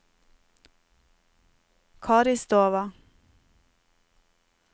Karistova